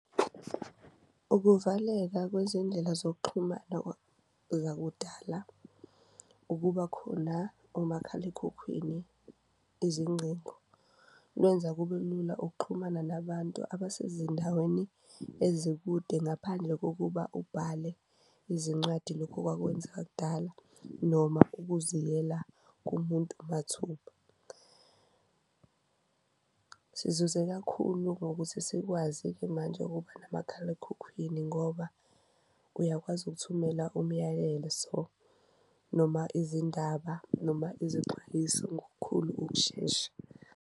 Ukuvaleka kwezindlela zokuxhumana zakudala ukuba khona omakhalekhukhwini izingcingo, lwenza kube lula ukuxhumana nabantu abasezindaweni ezikude ngaphandle kokuba ubhale izincwadi lokhu okwakwenzeka kudala noma ukuziyela kumuntu mathupha. Sizuze kakhulu ngokuthi sikwazi-ke manje ukuba namakhalekhukhwini ngoba uyakwazi ukuthumela umyalezo noma izindaba, noma izixwayiso ngokukhulu ukushesha.